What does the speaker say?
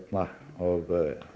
og